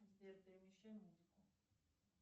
сбер перемещай музыку